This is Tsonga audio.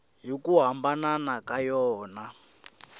hi ku hambana ka yona